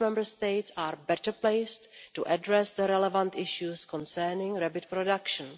Member States involved are better placed to address the relevant issues concerning rabbit production.